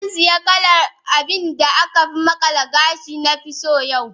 Zan sayi kalar abin da aka makala gashin da na fi so yau.